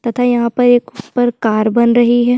तथा यहाँ पर एक कार बन रही है।